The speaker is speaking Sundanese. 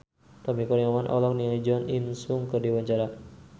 Tommy Kurniawan olohok ningali Jo In Sung keur diwawancara